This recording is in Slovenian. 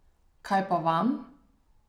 Kaj pa vam?